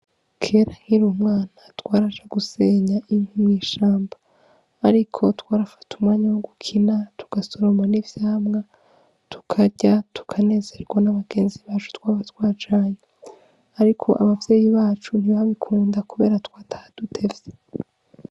Kera nkiri umwana twaraja gusenga mw'ishamba ariko twarafata umwanya wo gukina tugasoroma n' ivyamwa tukarya tukanezegwa n' abagenzi bacu twaba twajanye ariko abavyeyi bacu ntibabikunda kubera twataha dutevye.